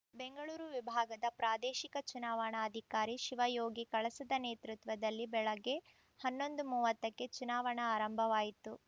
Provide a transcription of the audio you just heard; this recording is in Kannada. ಬೆಂಗಳೂರು ವಿಭಾಗದ ಪ್ರಾದೇಶಿಕ ಚುನಾವಣಾಧಿಕಾರಿ ಶಿವಯೋಗಿ ಕಳಸದ ನೇತೃತ್ವದಲ್ಲಿ ಬೆಳಗ್ಗೆ ಹನ್ನೊಂದು ಮೂವತ್ತಕ್ಕೆ ಚುನಾವಣಾ ಆರಂಭವಾಯಿತು